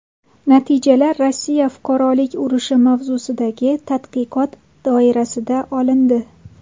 Natijalar Rossiya Fuqarolik urushi mavzusidagi tadqiqot doirasida olindi.